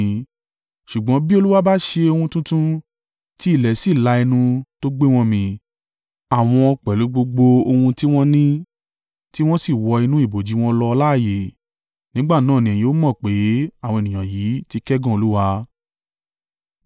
Ṣùgbọ́n bí Olúwa bá ṣe ohun tuntun, tí ilẹ̀ sì la ẹnu, tó gbé wọn mì, àwọn pẹ̀lú gbogbo ohun tí wọ́n ní, tí wọ́n sì wọ inú ibojì wọn lọ láààyè, nígbà náà ni ẹ̀yin ó mọ̀ pé àwọn ènìyàn yìí ti kẹ́gàn Olúwa.”